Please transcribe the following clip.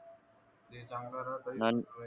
चांगला राहा